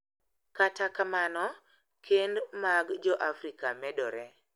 Kata kamano, kend mag Joafrika medore.